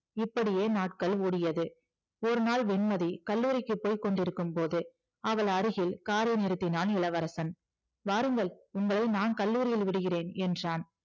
இப்படியே நாட்கள் ஓடியது ஒருநாள் வெண்மதி கல்லூரிக்கு போயிக்கொண்டிருக்கும்போது அவள் அருகில் காரை நிறுத்தினான் இளவரசன் வாருங்கள் உங்களை நான் கல்லுரியில் விடுகிறேன் என்றான்